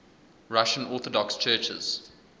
russian orthodox churches